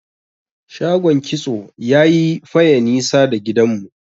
shagon kitso yayi Faye nisa da gidan mu